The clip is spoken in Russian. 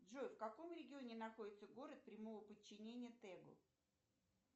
джой в каком регионе находится город прямого подчинения тегу